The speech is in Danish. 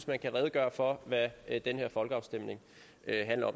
jeg kan redegøre for hvad den her folkeafstemning handler